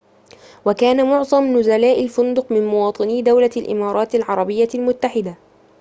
وكان معظم نزلاء الفندق من مواطني دولة الإمارات العربية المتحدة